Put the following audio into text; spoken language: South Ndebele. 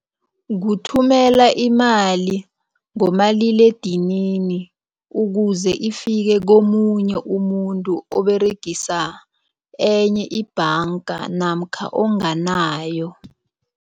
Kuthumela imali ngomaliledinini ukuze ifike komunye umuntu oberegisa enye ibhanga namkha onganayo.